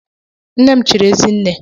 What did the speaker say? Nne m chiri ezi nne.